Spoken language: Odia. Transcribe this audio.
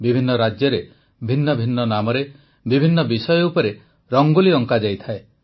ବିଭିନ୍ନ ରାଜ୍ୟରେ ଭିନ୍ନ ଭିନ୍ନ ନାମରେ ବିଭିନ୍ନ ବିଷୟ ଉପରେ ରଙ୍ଗୋଲି ଅଙ୍କାଯାଇଥାଏ